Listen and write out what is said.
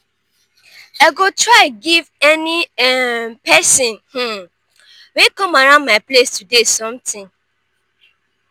i go try give any um pesin um wey come around my place today something.